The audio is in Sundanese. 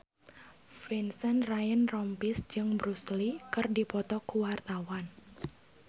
Vincent Ryan Rompies jeung Bruce Lee keur dipoto ku wartawan